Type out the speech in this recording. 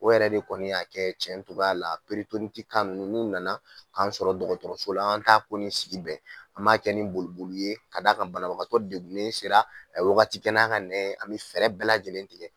O yɛrɛ de kɔni y'a kɛ cɛn tun la ninnu nana k'an sɔrɔ dɔgɔtɔrɔso la, an ta ko sigi bɛn an maa kɛ ni boli ye ka d'a kan banabagatɔ degugunnen sera a ye wagati kɛn n'a ka nɛn ye, an bɛ fɛɛrɛ bɛɛ lajɛlen tigɛ